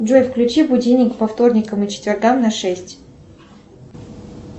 джой включи будильник по вторникам и четвергам на шесть